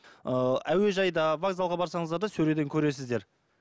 ыыы әуежайда вокзалға барсаңыздар да сөреден көресіздер